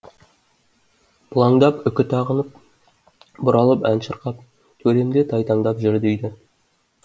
бұлаңдап үкі тағынып бұралып ән шырқап төрімде тайтаңдап жүр дейді